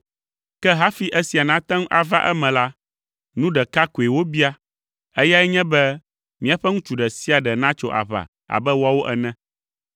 Ke hafi esia nate ŋu ava eme la, nu ɖeka koe wobia; eyae nye be míaƒe ŋutsu ɖe sia ɖe natso aʋa abe woawo ene.